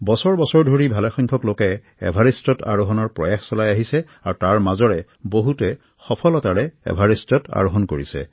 বছৰ বছৰ ধৰি ভালেসংখ্যক লোকে এভাৰেষ্টত আৰোহনৰ প্ৰয়াস চলাই আহিছে আৰু তাৰ মাজৰে বহুতে সফলতাৰে এভাৰেষ্টত আৰোহন কৰিছে